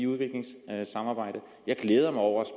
udviklingssambejdet jeg glæder mig over